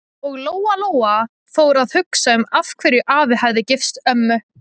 Og Lóa-Lóa fór að hugsa um af hverju afi hefði gifst ömmu.